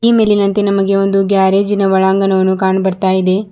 ಈ ಮೇಲಿನಂತೆ ನಮಗೆ ಒಂದು ಗ್ಯಾರೇಜಿನ ಒಳಾಂಗಣ ಕಾಣ್ ಬರ್ತಾ ಇದೆ.